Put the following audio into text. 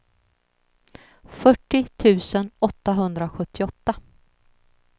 fyrtio tusen åttahundrasjuttioåtta